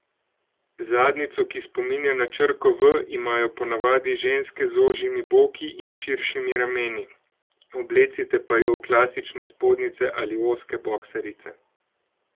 Zadnjico, ki spominja na črko V, imajo po navadi ženske z ožjimi boki in širšimi rameni, oblecite pa jo v klasične spodnjice ali ozke boksarice.